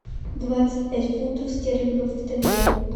двадцать пять фунтов стерлингов в тенге